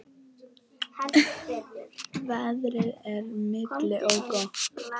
Veðrið er milt og gott.